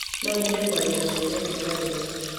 No nyende kwaria na mwene nduka ĩno